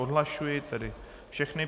Odhlašuji tedy všechny.